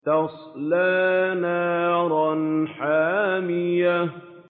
تَصْلَىٰ نَارًا حَامِيَةً